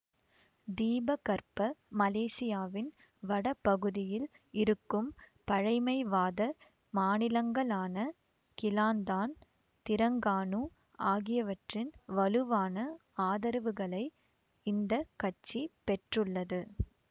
தீபகற்ப மலேசியாவின் வட பகுதியில் இருக்கும் பழைமைவாத மாநிலங்களான கிளாந்தான் திரங்கானு ஆகியவற்றின் வலுவான ஆதரவுகளை இந்த கட்சி பெற்றுள்ளது